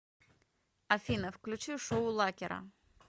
афина включи шоу лакера